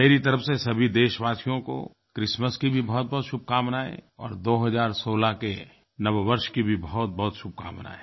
मेरी तरफ़ से सभी देशवासियों को क्रिसमस की भी बहुतबहुत शुभकामनायें और 2016 के नववर्ष की भी बहुतबहुत शुभकामनायें